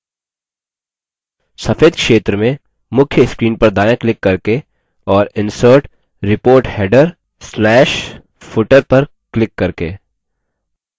सफेद क्षेत्र में मुख्य screen पर दायाँ क्लिक करके और insert report header/footer पर क्लिक करके